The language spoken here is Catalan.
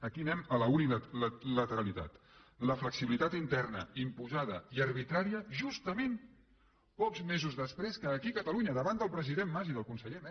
aquí anem a la unilateralitat la flexibilitat interna imposada i arbitrària justament poc mesos després que aquí a catalunya davant del president mas i del conseller mena